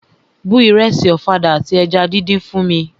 Bu ìrẹsì ọ̀fadà àti eja díndín fún mi!